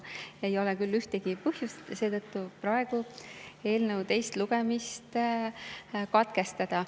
Ei ole küll ühtegi põhjust seetõttu eelnõu teine lugemine katkestada.